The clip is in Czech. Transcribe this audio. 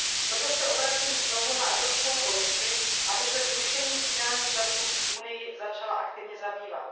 Proto se obracím znovu na Evropskou komisi, aby se zrušením střídání času v Unii začala aktivně zabývat.